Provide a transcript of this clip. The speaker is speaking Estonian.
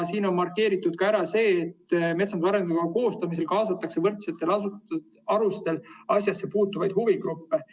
Siin on markeeritud ära ka see, et metsanduse arengukava koostamisse kaasatakse võrdsetel alustel asjasse puutuvaid huvigruppe.